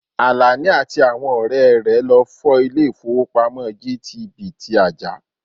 Àlàní àti àwọn ọ̀rẹ́ rẹ̀ lọ fọ́ ilè ìfówópamọ́sí GTB ti Ajah.